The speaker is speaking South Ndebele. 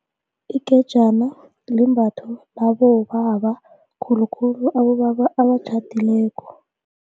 Ingejana limbatho labobaba khulukhulu abobaba abatjhadileko.